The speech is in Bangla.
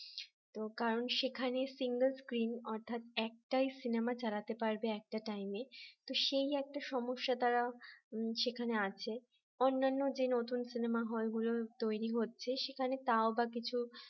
তো কারণ সেখানে single screen অর্থাৎ একটাই সিনেমা চালাতে পারবে একটা time তো সেই একটা সমস্যা তারা সেখানে আছে অন্যান্য যে নতুন সিনেমা হল তৈরি হচ্ছে সেখানে তাওবা কিছু